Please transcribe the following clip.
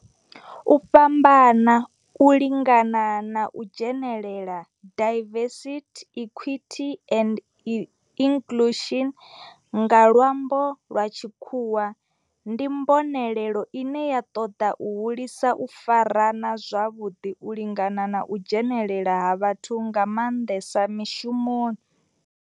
U fhambana, u lingana na u dzhenelela, diversity, equity and inclusion nga lwambo lwa tshikhuwa, ndi mbonelelo ine ya toda u hulisa u farana zwavhudi, u lingana na u dzhenelela ha vhathu nga manḓesa mishumoni.